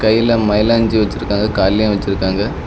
கைல மைலாஞ்சி வச்சிருக்காங்க கால்லையும் வச்சிருக்காங்க.